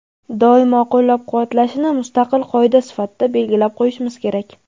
doimo qo‘llab-quvvatlashini mustaqil qoida sifatida belgilab qo‘yishimiz kerak.